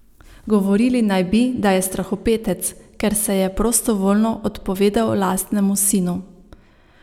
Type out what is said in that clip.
Govorili naj bi, da je strahopetec, ker se je prostovoljno odpovedal lastnemu sinu.